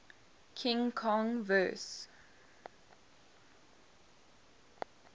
king kong vs